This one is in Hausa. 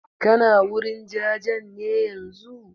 Kana wurin jajen ne yanzun?